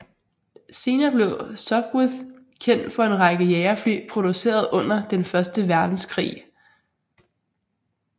Senere blev Sopwith kendt for en række jagerfly produceret under den første verdenskrig